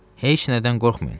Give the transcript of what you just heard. Heç nədən qorxmayın.